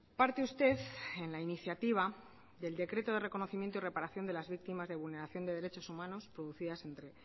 parte usted en la iniciativa del decreto de reconocimiento y reparación de las victimas de vulneración de derechos humanos producidas entre